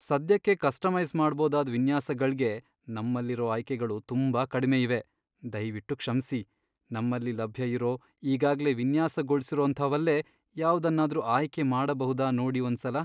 ಸದ್ಯಕ್ಕೆ ಕಸ್ಟಮೈಸ್ ಮಾಡ್ಬೋದಾದ್ ವಿನ್ಯಾಸಗಳ್ಗೆ ನಮ್ಮಲ್ಲಿರೋ ಆಯ್ಕೆಗಳು ತುಂಬಾ ಕಡ್ಮೆ ಇವೆ. ದಯ್ವಿಟ್ಟು ಕ್ಷಮ್ಸಿ. ನಮ್ಮಲ್ಲಿ ಲಭ್ಯ ಇರೋ ಈಗಾಗ್ಲೇ ವಿನ್ಯಾಸಗೊಳ್ಸಿರೋಂಥವಲ್ಲೇ ಯಾವ್ದನ್ನಾದ್ರೂ ಆಯ್ಕೆ ಮಾಡ್ಬಹುದಾ ನೋಡಿ ಒಂದ್ಸಲ.